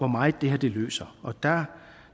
meget det her løser